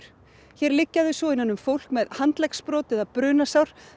hér liggja þau svo innan um fólk með handleggsbrot eða brunasár